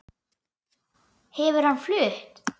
Hefur hann flutt?